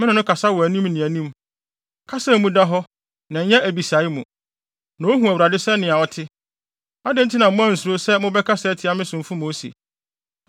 Me ne no kasa anim ne anim, kasa a emu da hɔ na ɛnyɛ abisae mu. Na ohu Awurade sɛnea ɔte. Adɛn nti na moansuro sɛ mobɛkasa atia me somfo Mose?”